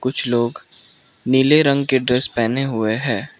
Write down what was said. कुछ लोग नीले रंग के ड्रेस पेहने हुए है।